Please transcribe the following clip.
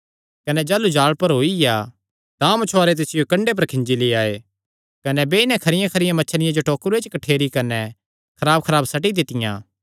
कने जाह़लू जाल़ भरोईया तां मछुआरे तिसियो कंडे पर खींजी लेई आये कने बेई नैं खरियाखरियां मच्छियां तां टोकरुये च कठ्ठेरियां कने खराबखराब सट्टी दित्तियां